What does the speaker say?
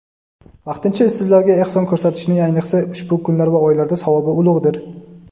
vaqtincha ishsizlarga ehson ko‘rsatishning ayniqsa ushbu kunlar va oylarda savobi ulug‘dir.